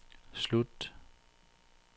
slut